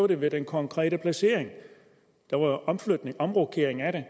det med den konkrete placering der var en omrokering af det